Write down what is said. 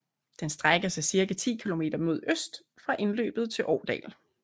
Den strækker sig 10 kilometer mod øst fra indløbet til Årdal